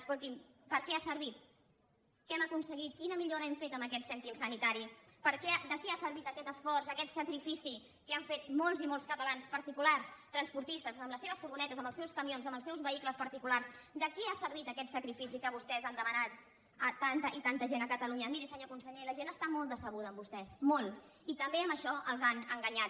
escolti’m per a què ha servit què han aconseguit quina millora hem fet amb aquest cèntim sanitari de què ha servit aquest esforç aquest sacrifici que han fet molts i molts catalans particulars transportistes amb les seves furgonetes amb els seus camions amb els seus vehicles particulars de què ha servit aquest sacrifici que vostès han demanat a tanta i tanta gent a catalunya miri senyor conseller la gent està molt decebuda amb vostès molt i també amb això els han enganyat